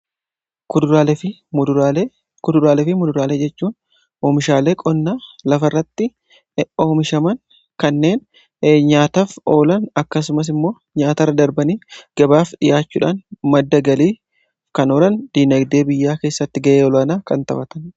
kuduraalee fi muduraalee jechuun oomishaalee qonnaa lafa irratti oomishaman kanneen nyaataaf oolan akkasumas immoo nyaata irra darbanii gabaaf dhiyaachuudhaan madda galiif kan oolan dinagdee biyyaa keessatti ga'ee olaanaa kan taphatanidhaa